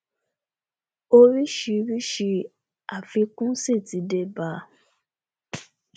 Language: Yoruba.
orísìírísìí àfikún sì ti dé bá a